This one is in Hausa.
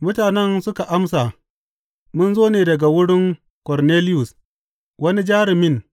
Mutanen suka amsa, Mun zo ne daga wurin Korneliyus wani jarumin.